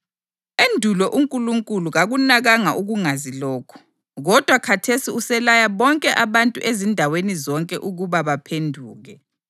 Endulo uNkulunkulu kakunakanga ukungazi lokhu, kodwa khathesi uselaya bonke abantu ezindaweni zonke ukuba baphenduke.